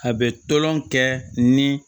A bɛ tolon kɛ ni